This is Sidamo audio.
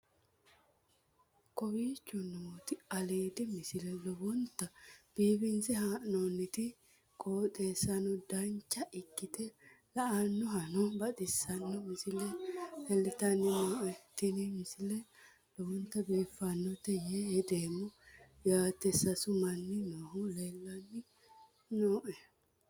kowicho nooti aliidi misile lowonta biifinse haa'noonniti qooxeessano dancha ikkite la'annohano baxissanno misile leeltanni nooe ini misile lowonta biifffinnote yee hedeemmo yaate sasu manni noohu leelanni nooe